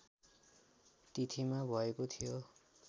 तिथिमा भएको थियो